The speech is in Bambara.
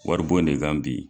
Wari bon de kan bi.